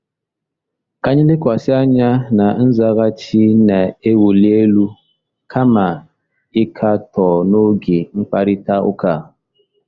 Ka anyị lekwasị anya na nzaghachi na-ewuli elu kama ịkatọ n'oge mkparịta ụka a.